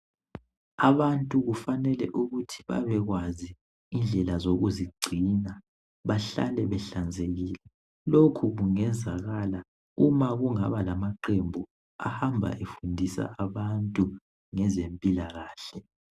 Abantu kufanele ukuthi bebekwazi indlela yokuzigcina behlale behlanzekile lokhu kungenzekala uma kungaba lamaqembu ahamba efundisa abantu ngezempilakahle.